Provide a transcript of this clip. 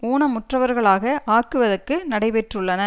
ஊனமுற்றவர்களாக ஆக்குவதற்கு நடைபெற்றுள்ளன